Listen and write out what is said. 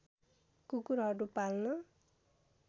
कुकुरहरू पाल्न